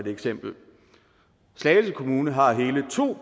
eksempel slagelse kommune har hele to